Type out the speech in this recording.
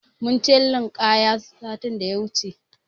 Mun je linƙaya sati da ya wuce.